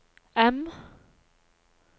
M